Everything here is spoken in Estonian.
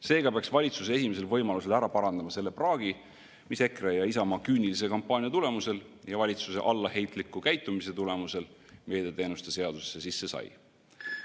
Seega peaks valitsus esimesel võimalusel ära parandama selle praagi, mis EKRE ja Isamaa küünilise kampaania tulemusel ja valitsuse allaheitliku käitumise tulemusel meediateenuste seadusesse sisse sai.